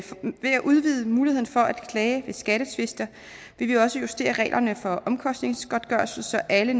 udvide muligheden for at klage ved skattetvister vil vi også justere reglerne for omkostningsgodtgørelse så alle